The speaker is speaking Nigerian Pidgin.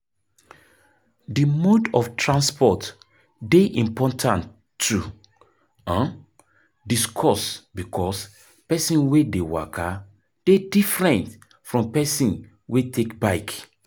The mode of transport dey important to um discuss because person wey dey waka dey different from person wey take bike